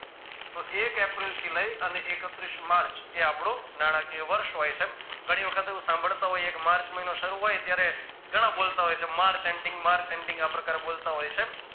તો એક એપ્રિલથી લઈ અમને એકત્રીશ માર્ચ એ આપણું નાણાકીય વર્ષ હોય છે ઘણી વખત એવું સાંભળતા હોઈ માર્ચ મહિનો શરૂ હોય હોય ત્યારે ઘણા બોલતા હોય છે માર્ચ ending માર્ચ ending આ પ્રકારે બોલતા હોય છે